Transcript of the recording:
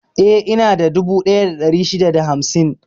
Eh, inada dubu ɗaya da ɗari shida da hamsin.